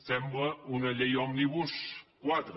sembla una llei òmnibus quatre